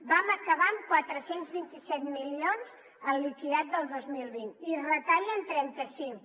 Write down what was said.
vam acabar amb quatre cents i vint set milions el liquidat del dos mil vint i en retallen trenta cinc